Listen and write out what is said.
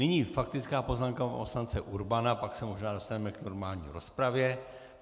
Nyní faktická poznámka pana poslance Urbana, pak se možná dostaneme k normální rozpravě.